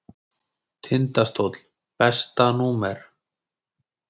Tindastóll Besta númer?